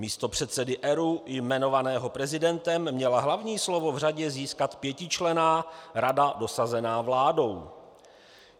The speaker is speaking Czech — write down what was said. Místo předsedy ERÚ jmenovaného prezidentem měla hlavní slovo v řadě získat pětičlenná rada dosazená vládou.